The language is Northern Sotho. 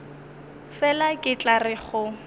fela ke tla re go